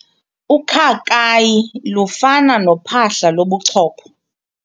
Ukhakayi lufana nophahla lobuchopho.